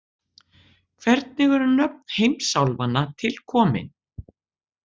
Hvernig eru nöfn heimsálfanna til komin?